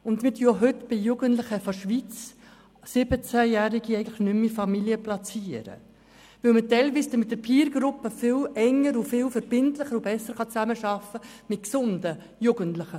Und wir platzieren auch bei Jugendlichen aus der Schweiz 17-Jährige eigentlich nicht mehr in Familien, weil man bei gesunden Jugendlichen teilweise mit den «Peer-Gruppen» viel enger und verbindlicher zusammenarbeiten kann.